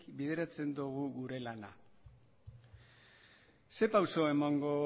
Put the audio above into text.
bideratzen dogu gure lana ze pauso emango